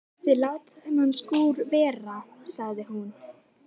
Þið látið þennan skúr vera sagði hún.